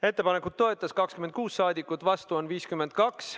Ettepanekut toetas 26 rahvasaadikut, vastu oli 52.